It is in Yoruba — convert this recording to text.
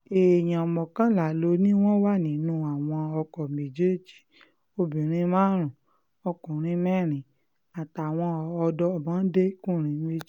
èèyàn mọ́kànlá ló ní wọ́n wà nínú àwọn ọkọ̀ méjèèjì obìnrin márùn-ún ọkùnrin mẹ́rin àtàwọn ọmọdékùnrin méjì